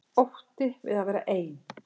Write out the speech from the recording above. Ótti við að vera ein.